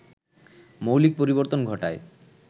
মৌলিক পরিবর্তন ঘটায়